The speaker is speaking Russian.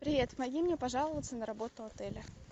привет помоги мне пожаловаться на работу отеля